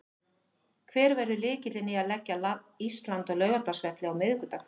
Hver verður lykillinn í að leggja Ísland á Laugardalsvelli á miðvikudag?